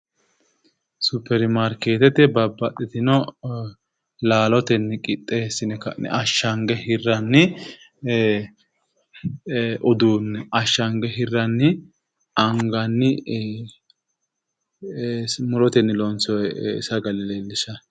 Suppermarkeetete babbaxxitino laalotenni qixxeessine ashshange hirranni uduunne ashshange hirranni anganni murotenni lonsoye sagale leellishshanno.